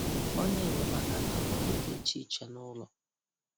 Onye nyemaaka na-arụ ọrụ dị iche iche nụlọ